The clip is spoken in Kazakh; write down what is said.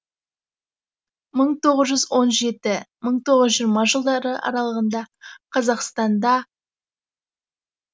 мың тоғыз жүз он жеті мың тоғыз жүз жиырма жылдары аралығында қазақстанда